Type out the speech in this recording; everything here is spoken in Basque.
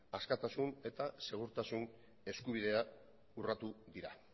askatasun eta segurtasun eskubidea urratu dira